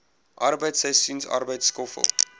arbeid seisoensarbeid skoffel